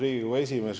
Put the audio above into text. Riigikogu liikmed!